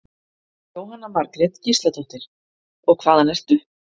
Jóhanna Margrét Gísladóttir: Og hvaðan ertu?